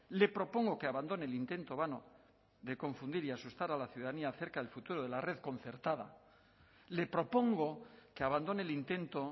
le propongo que abandone el intento vano de confundir y asustar a la ciudadanía acerca del futuro de la red concertada le propongo que abandone el intento